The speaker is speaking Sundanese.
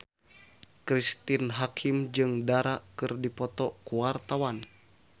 Cristine Hakim jeung Dara keur dipoto ku wartawan